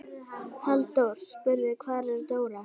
Halldór spurði: Hvar er Dóra?